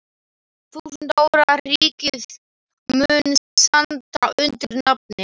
Þúsund ára ríkið mun standa undir nafni.